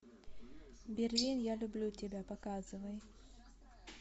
берлин я люблю тебя показывай